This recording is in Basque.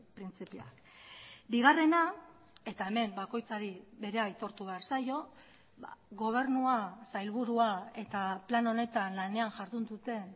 printzipioak bigarrena eta hemen bakoitzari berea aitortu behar zaio gobernua sailburua eta plan honetan lanean jardun duten